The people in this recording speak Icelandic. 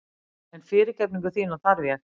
En fyrirgefningu þína þarf ég.